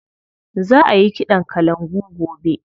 Za a yi ƙiɗan kalangu gobe.